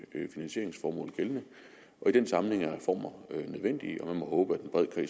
finansieringsformål gældende i den sammenhæng er reformer nødvendige og man må håbe